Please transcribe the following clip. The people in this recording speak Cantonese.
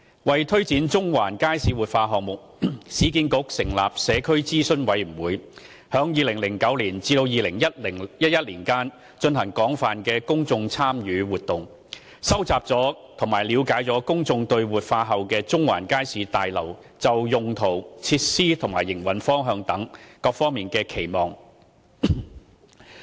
為推展中環街市活化項目，市建局成立社區諮詢委員會，在2009年至2011年間進行廣泛的公眾參與活動，收集及了解公眾對活化後的中環街市大樓就用途、設施及營運方向等方面的期望。